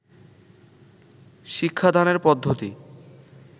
শিক্ষাদানের পদ্ধতি